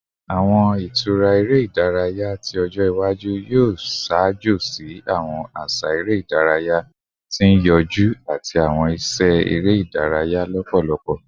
Awọn itura ere idaraya ti ọjọ iwaju yoo ṣaajo si awọn aṣa ere idaraya ti n yọju ati awọn iṣẹ ere idaraya lọpọlọpọ